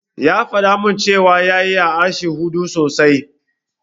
Ya faɗa min cewa ya iya harshen Urdu sosai.